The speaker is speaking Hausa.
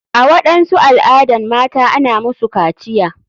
A waɗansu al adan mata ana musu kaciya.